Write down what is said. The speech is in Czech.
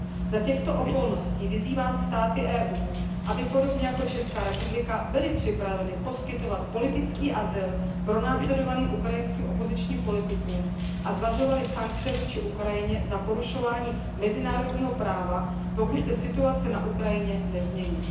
Za těchto okolností vyzývám státy EU, aby podobně jako Česká republika byly připraveny poskytovat politický azyl pronásledovaným ukrajinským opozičním politikům a zvažovaly sankce vůči Ukrajině za porušování mezinárodního práva, pokud se situace na Ukrajině nezmění.